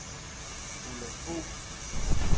Ulla Fogh